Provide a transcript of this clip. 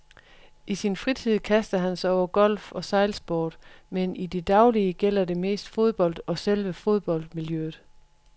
I sin fritid kaster han sig over golf og sejlsport, men i det daglige gælder det mest fodbold og selve fodboldmiljøet.